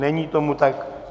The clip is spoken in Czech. Není tomu tak.